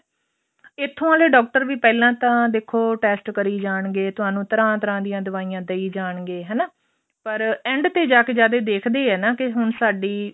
ਇੱਥੋ ਵਾਲੇ ਡਾਕਟਰ ਪਹਿਲਾਂ ਤਾਂ ਦੇਖੋ test ਕਰੀ ਜਾਣਗੇ ਤੁਹਾਨੂੰ ਤਰ੍ਹਾਂ ਤਰ੍ਹਾਂ ਦੀਆਂ ਦਵਾਈਆਂ ਦਈ ਜਾਣਗੇ ਹਨਾ ਪਰ end ਤੇ ਜਾਕੇ ਜਦ ਇਹ ਦੇਖਦੇ ਆ ਨਾ ਕਿ ਹੁਣ ਸਾਡੀ